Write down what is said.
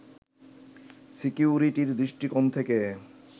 সিকিউরিটির দৃষ্টিকোণ থেকে